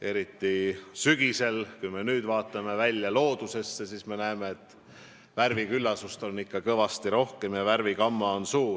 Eriti sügisel: kui me nüüd vaatame välja loodusesse, siis näeme, et värviküllasust on ikka kõvasti rohkem, värvigamma on lai.